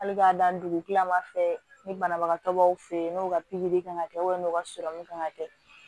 Hali k'a dan dugu kila ma fɛ ni banabagatɔ dɔw fɛ ye n'o ka pikiri kan kɛ n'u ka kan ka kɛ